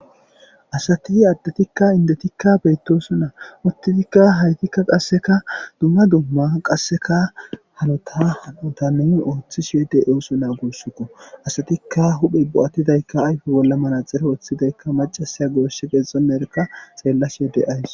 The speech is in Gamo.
asati addetikka indetikka beyttoso naa uttitikka haytikka qasseka dumma dumma qasseka halota hautanin ooththi shieede ewoso naa gussukko asatikka huphey bo7attidaykka ayfe bolla manaxere ooththidaykka macasiya gooshe qeexoerka xeellas yodde ays